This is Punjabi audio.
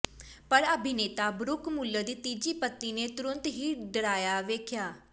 ਪਰ ਅਭਿਨੇਤਾ ਬਰੁਕ ਮੁਲਰ ਦੀ ਤੀਜੀ ਪਤਨੀ ਨੇ ਤੁਰੰਤ ਹੀ ਡਰਾਇਆ ਵੇਖਿਆ